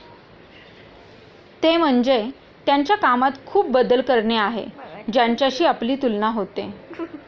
हे म्हणजे त्यांच्या कामात खूप बदल करणे आहे, ज्यांच्याशी आपली तुलना होते.